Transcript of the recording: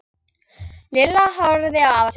Lilla horfði á afa sinn.